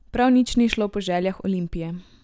Prav nič ni šlo po željah Olimpije.